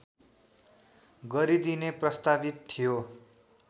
गरिदिने प्रस्तावित थियो